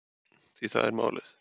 Því það er málið.